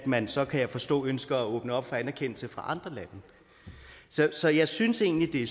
man så kan jeg forstå ønsker at åbne op for anerkendelse fra andre lande så jeg synes egentlig det